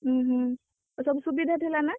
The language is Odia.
ଉହୁଁ ସବୁ ସୁବିଧା ଥିଲା ନା?